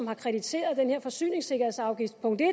har kritiseret den her forsyningssikkerhedsafgift punkt en